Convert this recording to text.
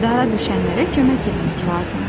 Dara düşənlərə kömək etmək lazımdır.